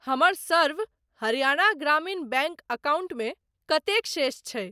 हमर सर्व हरियाणा ग्रामीण बैंक अकाउंटमे कतेक शेष छै?